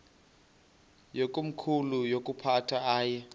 yakomkhulu woyiphatha aye